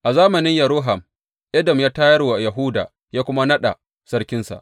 A zamanin Yehoram, Edom ya tayar wa Yahuda ya kuma naɗa sarkinsa.